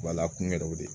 Wala kun yɛrɛw de